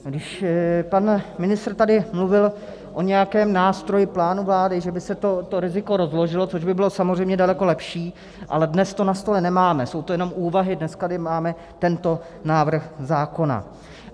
Když pan ministr tady mluvil o nějakém nástroji, plánu vlády, že by se to riziko rozložilo, což by bylo samozřejmě daleko lepší, ale dnes to na stole nemáme, jsou to jenom úvahy, dnes tady máme tento návrh zákona.